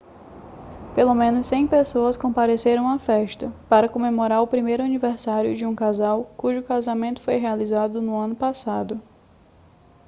pelo menos 100 pessoas compareceram à festa para comemorar o primeiro aniversário de um casal cujo casamento foi realizado no ano passado